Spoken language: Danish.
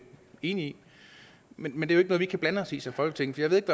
enig i men det er jo vi kan blande os i som folketing så jeg ved